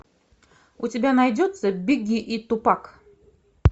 у тебя найдется бигги и тупак